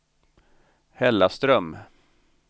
Hällaström